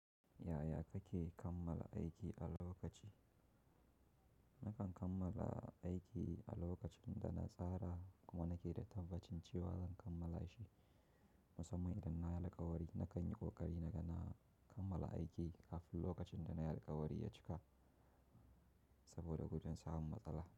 Yaya kake kammala aiki a lokaci? Nakan kammala aiki a lokacin da na tsara kuma nake da tabbacin cewa zan kammala shi. Musamman idan na yi alkawari, na kan yi ƙoƙari na ga na kammala aiki kafin lokacin da na yi alkawari ya cika saboda gujin samun matsala.